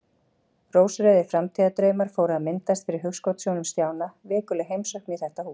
Rósrauðir framtíðardraumar fóru að myndast fyrir hugskotssjónum Stjána: Vikuleg heimsókn í þetta hús.